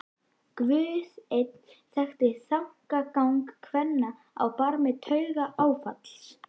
Guð einn þekkti þankagang kvenna á barmi taugaáfalls.